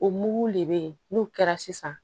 O mugu de be yen n'o kɛra sisan